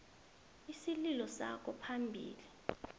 isililo sakho phambili